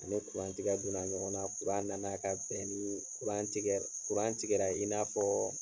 A ni tigɛ donna ɲɔgɔn na. nana ka bɛn nii tigɛ tigɛra i n'a fɔɔ